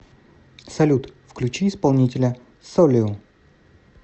салют включи исполнителя солио